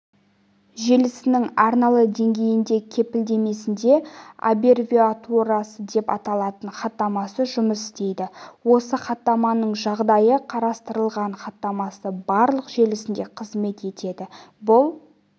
желісінің арналы деңгейінде кепілдемесінде аббревиатурасы деп аталатын хаттамасы жұмыс істейді осы хаттаманың жағдайы қарастырылған хаттамасы барлық желісінде қызмет етеді бұл